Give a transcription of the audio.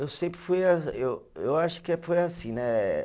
Eu sempre fui eu, eu acho que foi assim, né?